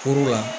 la